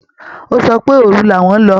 Ó sọ pé òru làwọn lọ